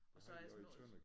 Og så i små